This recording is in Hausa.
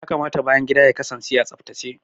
Ya kamata bayan gida ya kasance a tsaftace.